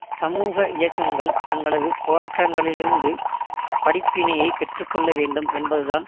சமூக இயக்கங்கள் தங்களது போராட்டங்களிலிருந்து படிப்பினையைப் பெற்று கொள்ள வேண்டும் என்பதுதான்